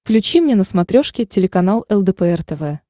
включи мне на смотрешке телеканал лдпр тв